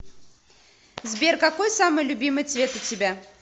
сбер какой самый любимый цвет у тебя